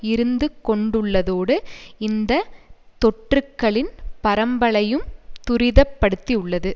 இருந்துகொண்டுள்ளதோடு இந்த தொற்றுக்களின் பரம்பலையும் துரிதப்படுத்தியுள்ளது